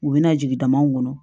U bɛna jigin damaw kɔnɔ